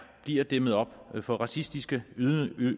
bliver dæmmet op for racistiske